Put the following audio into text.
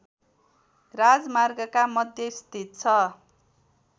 राजमार्गका मध्य स्थित छ